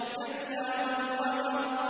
كَلَّا وَالْقَمَرِ